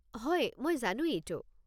হয়, মই জানো এইটো।